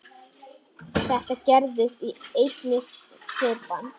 Þetta gerðist í einni svipan.